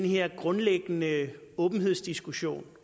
her grundlæggende åbenhedsdiskussion